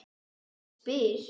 Ég spyr.